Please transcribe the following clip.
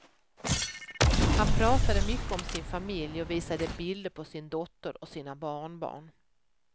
Han pratade mycket om sin familj och visade bild på sin dotter och sina barnbarn.